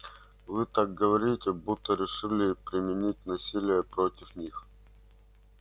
вы так говорите будто решили применить насилие против них